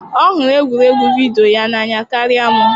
Ọ hụrụ egwuregwu vidiyo n'anya karịa m.